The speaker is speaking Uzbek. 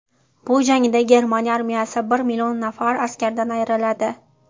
Bu jangda Germaniya armiyasi bir million nafar askaridan ayriladi.